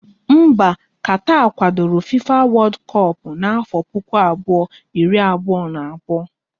Mba Katar kwadoro FIFA wodu kop na-afo puku abụọ, iri abụọ na abụọ